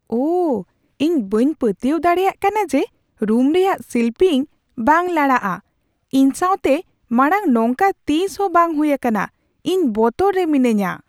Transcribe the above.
ᱳᱦ! ᱤᱧ ᱵᱟᱹᱧ ᱯᱟᱹᱛᱭᱟᱹᱣ ᱫᱟᱲᱮᱭᱟᱜ ᱠᱟᱱᱟ ᱡᱮ ᱨᱩᱢ ᱨᱮᱭᱟᱜ ᱥᱤᱞᱯᱤᱧ ᱵᱟᱝ ᱞᱟᱲᱟᱜᱼᱟ ! ᱤᱧ ᱥᱟᱣᱛᱮ ᱢᱟᱲᱟᱝ ᱱᱚᱝᱠᱟ ᱛᱤᱥᱦᱚᱸ ᱵᱟᱝ ᱦᱩᱭ ᱟᱠᱟᱱᱟ ᱾ ᱤᱧ ᱵᱚᱛᱚᱨ ᱨᱮ ᱢᱤᱱᱟᱹᱧᱟ ᱾